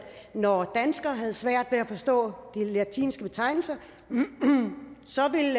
når danskere har svært ved at forstå de latinske betegnelser så vil